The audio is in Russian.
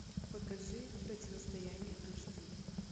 покажи противостояние аш ди